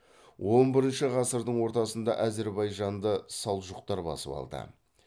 он бірінші ғасырдың ортасында әзірбайжанды салжұқтар басып алды